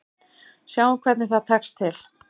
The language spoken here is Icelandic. Sjáum hvernig það tekst til.